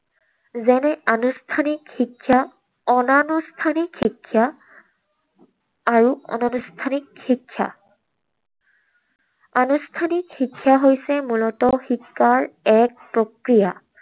যেনে আনুষ্ঠানিক শিক্ষা, অনানুষ্ঠানিক শিক্ষা আৰু অনানুষ্ঠানিক শিক্ষা। আনুষ্ঠানিক শিক্ষা হৈছে মূলতঃ শিকাৰ এক প্ৰক্ৰিয়া।